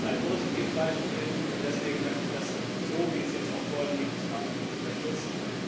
Dies ist ein positives Beispiel, und deswegen möchte ich das so, wie es jetzt vorliegt, absolut unterstützen.